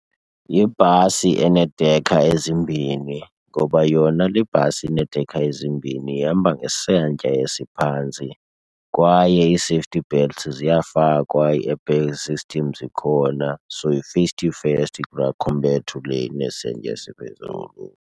Yibhasi eneedekha ezimbhini ngoba yona le bhasi ineedekha ezimbini ihamba ngesantya esiphantsi kwaye ii-safety belts ziyafakwa, ii-airbag system zikhona. So yi-safety first kulaa compared to le inesantya esiphezulu.